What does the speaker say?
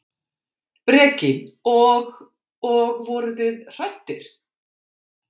Breki: Og, og voruð þið hræddir?